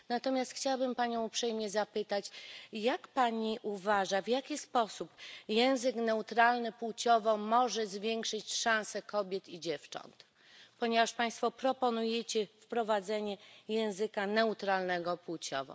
Natomiast chciałbym Panią uprzejmie zapytać, jak Pani uważa, w jaki sposób język neutralny płciowo może zwiększyć szanse kobiet i dziewcząt, ponieważ Państwo proponujecie wprowadzenie języka neutralnego płciowo.